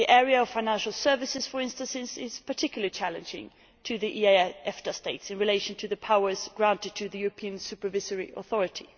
The area of financial services, for instance, is particularly challenging to the EEA EFTA states in relation to the powers granted to the European Supervisory Authority.